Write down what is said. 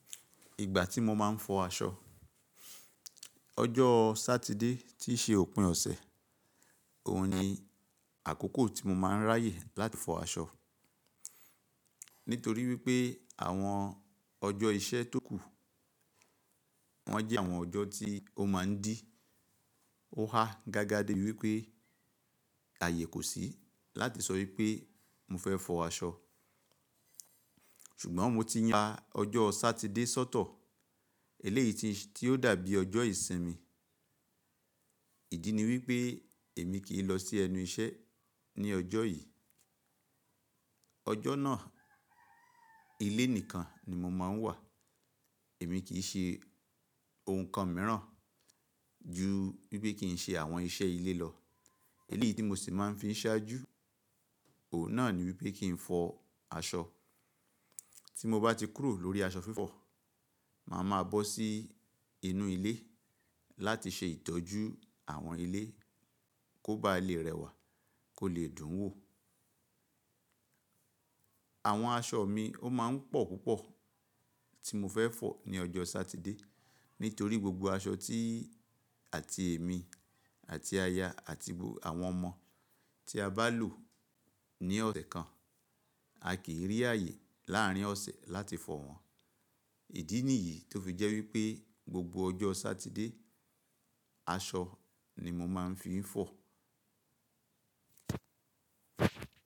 Ìgbà tí mo máa ń fọ aṣọ, ọjọ́ Sátidé tí í ṣe òpin ọ̀sẹ̀, òun ni àkókò tí mo máa ń ráyè láti fọ aṣọ. Nítorí wípé àwọn ọjọ́ iṣẹ́ tó kù, wọ́n jẹ́ àwọn ọjọ́ tí ó máa ń dí ó há gágá dé wípé ààyè kò sí láti sọ wípé mo fẹ́ fọ aṣọ. Ṣùgbọ́n mo ti yan ọjọ́ Sátidé sọ́tọ̀, eléyìí tí ó dàbí ọjọ́ ìsinmi. Ìdí ni wípé èmi kì í lọ sí ẹnu iṣẹ́ ní ọjọ́ yìí. Ọjọ́ náà ilé nìkan ni mo máa ń wà. Èmi kì í ṣe ohun kan mìíràn ju wípé kí n ṣe àwọn iṣẹ́ ilé lọ. Eléyìí tí mo sì máa ń fi ṣáájú, òun náà ni wípé kí n fọ aṣọ. Tí mo bá ti kúrò lórí aṣọ fífọ̀, màá ma bọ́ sí inú ilé láti ṣe ìtọ́jú àwọn ilé kó ba lè rẹwà, kó lè dùn wò. Àwọn aṣọ mi ó máa ń pọ̀ púpọ̀ tí mo fẹ́ fọ̀ ní ọjọ́ Sátidé. Nítorí gbogbo aṣọ tí àti èmi àti aya àti gbogbo àwọn ọmọ tí a bá lò ní ọ̀sẹ̀ kan, a kì í rí ààyè láàrin ọ̀sẹ̀ láti fọ̀ wọ́n. Ìdí nìyí tó fi jẹ́ wípé gbogbo ọjọ́ Sátidé, aṣọ ni mo máa ń fi ń fọ̀.